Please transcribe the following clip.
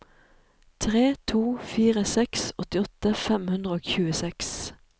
tre to fire seks åttiåtte fem hundre og tjueseks